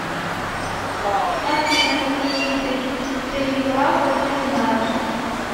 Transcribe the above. афина какие виды перифраза ты знаешь